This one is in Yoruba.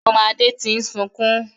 Ọmọ Adé tí ń sunkún